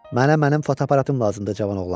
Mənə mənim fotoaparatım lazımdır cavan oğlan.